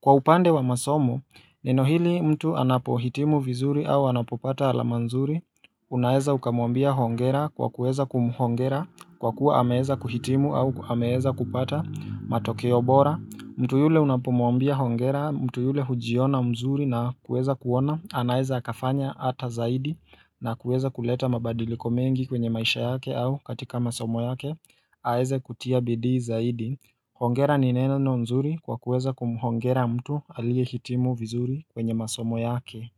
Kwa upande wa masomo, neno hili mtu anapohitimu vizuri au anapopata alamanzuri, unaeza ukamwambia hongera kwa kueza kumhongera, kwa kuwa ameeza kuhitimu au ameeza kupata matokeo bora. Mtu yule unapomwambia hongera, mtu yule hujiona mzuri na kuweza kuona, anaeza hakafanya ata zaidi na kuweza kuleta mabadiliko mengi kwenye maisha yake au katika masomo yake, aeze kutia bidii zaidi. Hongera ni neno nzuri kwa kuweza kumhongera mtu aliye hitimu vizuri kwenye masomo yake.